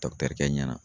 kɛ ɲɛna